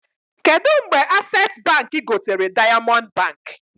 Kedụ mgbe Accessi Baankị gotere Diamond Baankị?